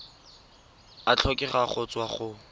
a tlhokega go tswa go